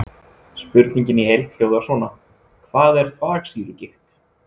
Spurningin í heild hljóðar svona: Hvað er þvagsýrugigt?